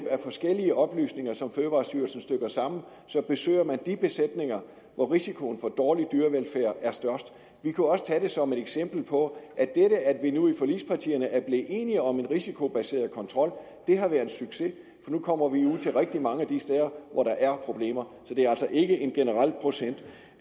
af forskellige oplysninger som fødevarestyrelsen stykker sammen besøger man de besætninger hvor risikoen for dårlig dyrevelfærd er størst vi kunne også tage det som et eksempel på at det at vi nu i forligspartierne er blevet enige om en risikobaseret kontrol har været en succes for nu kommer vi ud til rigtig mange af de steder hvor der er problemer så det er altså ikke en generel procent